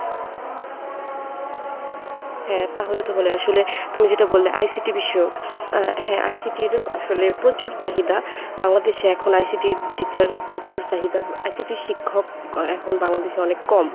হ্যাঁ তাহলে তো হলে আসলে তুমি যেটা বললে ICT বিষয়ক আ হ্যাঁ ICT র আসলে প্রচুর চাহিদা বাংলাদেশে এখন ICT র teacher এর প্রচুর চাহিদা ICT র শিক্ষক এখন বাংলাদেশে অনেক কম।